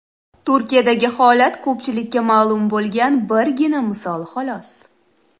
Turkiyadagi holat ko‘pchilikka ma’lum bo‘lgan birgina misol xolos.